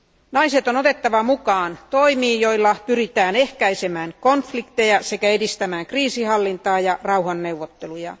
Naiset on otettava mukaan toimiin, joilla pyritään ehkäisemään konflikteja sekä edistämään kriisinhallintaa ja rauhanneuvotteluja.